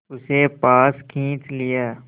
उसे पास खींच लिया